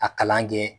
A kalan kɛ